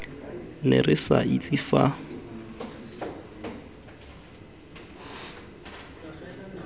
ne re sa itse fa